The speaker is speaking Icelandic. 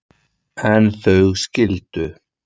En þau skildu.